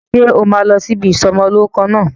Ṣé o máa lọ ibi ìsọ'mọlórúkọ náà?